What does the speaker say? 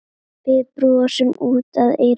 Við brosum út að eyrum.